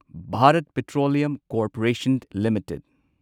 Bharat petroleum corporation limited